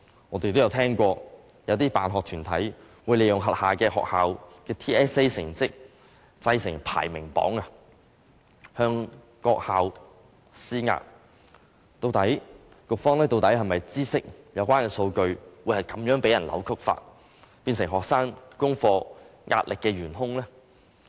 我們曾經聽聞，有些辦學團體會利用轄下學校的 TSA 成績製成排名榜，向各校施壓，局方究竟是否知悉有關數據會被人如此扭曲，變成學生功課壓力的元兇呢？